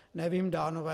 Nevím Dánové.